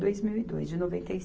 dois mil e dois de noventa e se